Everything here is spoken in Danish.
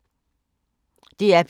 DR P3